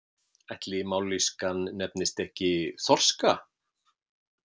Ætli mállýskan nefnist ekki þorska?